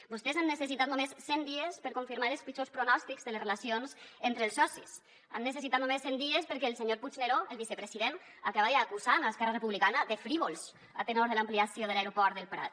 vostès han necessitat només cent dies per confirmar els pitjors pronòstics de les relacions entre els socis han necessitat només cent dies perquè el senyor puigneró el vicepresident acabara acusant esquerra republicana de frívols a tenor de l’ampliació de l’aeroport del prat